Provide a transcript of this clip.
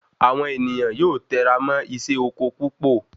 Awon ènìyàn yóò tẹra mọ isé oko púpò